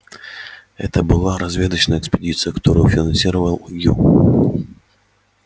это была разведочная экспедиция которую финансировал ю